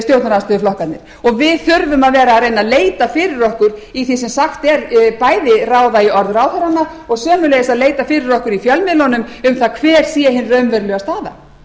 og við þurfum að vera að reyna að leita fyrir okkur í því sem sagt er bæði að ráða í orð ráðherranna og sömuleiðis að leita fyrir okkur í fjölmiðlunum um það hver sé hin raunverulega staða